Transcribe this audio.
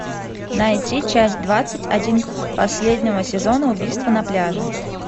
найти часть двадцать один последнего сезона убийство на пляже